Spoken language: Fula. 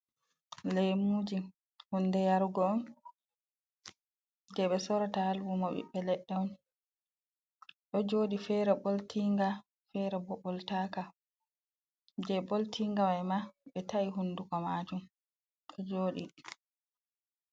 Lemuji hunde yarugo je ɓe sorata ha lumo ɓiɓɓe leɗɗe on ɗo joɗi fere ɓoltinga fera ɓoltaka. Je boltinga mai ma be ta’i hundugo majun ɗo joɗi.